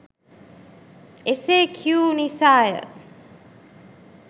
එසේකියූ නිසාය.